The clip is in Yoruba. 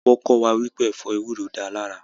Wọ́n kọ́ wá wípé ẹ̀fọ́ ewúro dáa lára